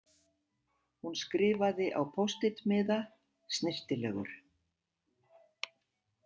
Hún skrifaði á post- it- miða: snyrtilegur.